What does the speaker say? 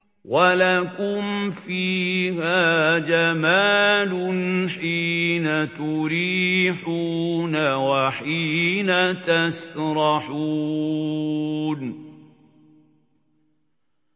وَلَكُمْ فِيهَا جَمَالٌ حِينَ تُرِيحُونَ وَحِينَ تَسْرَحُونَ